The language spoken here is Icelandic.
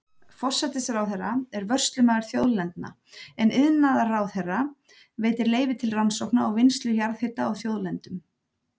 Forsætisráðherra er vörslumaður þjóðlendna, en iðnaðarráðherra veitir leyfi til rannsókna og vinnslu jarðhita á þjóðlendum.